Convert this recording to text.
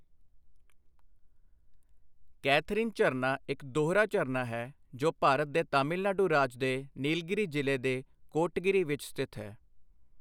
Catherine ਝਰਨਾ ਇੱਕ ਦੋਹਰਾ ਝਰਨਾ ਹੈ ਜੋ ਭਾਰਤ ਦੇ ਤਾਮਿਲਨਾਡੂ ਰਾਜ ਦੇ ਨੀਲਗਿਰੀ ਜ਼ਿਲ੍ਹੇ ਦੇ ਕੋਟਗਿਰੀ ਵਿੱਚ ਸਥਿਤ ਹੈ।